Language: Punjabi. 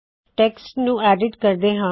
ਟੇਕਸਟ ਨੂੰ ਐਡਿਟ ਕਰਦੇ ਹਾ